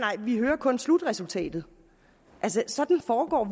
vi hører kun slutresultatet altså sådan foregår